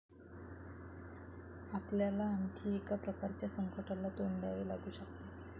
आपल्याला आणखी एका प्रकारच्या संकटाला तोंड द्यावे लागू शकते.